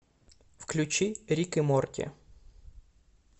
включи рик и морти